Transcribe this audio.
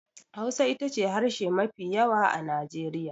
Hausa ita ce harshe mafi yawa a Najeriya.